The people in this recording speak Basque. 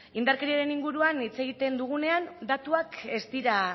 indarkeriaren inguruan hitz egiten dugunean datuak ez dira